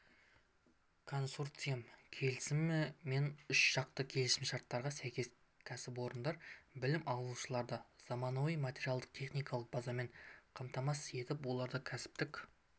консорциумдық келісім мен үшжақты келісімшарттарға сәйкес кәсіпорындар білім алушыларды заманауи материалдық-техникалық базамен қамтамасыз етіп оларда кәсіптік